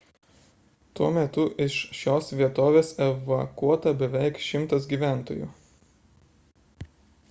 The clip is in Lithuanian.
tuo metu iš šios vietovės evakuota beveik 100 gyventojų